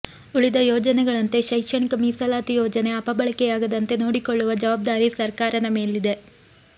ಉಳಿದ ಯೋಜನೆಗಳಂತೆ ಶೈಕ್ಷಣಿಕ ಮೀಸಲಾತಿ ಯೋಜನೆ ಅಪಬಳಕೆಯಾಗದಂತೆ ನೋಡಿಕೊಳ್ಳುವ ಜವಾಬ್ದಾರಿ ಸರ್ಕಾರದ ಮೇಲಿದೆ